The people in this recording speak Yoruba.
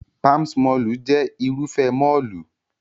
Palms mọ́ọ̀lù jẹ́ Irúfẹ́ mọ́ọ̀lù